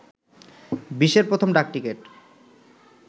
বিশ্বের প্রথম ডাক টিকেট